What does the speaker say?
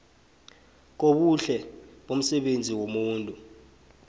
kobuhle bomsebenzi womuntu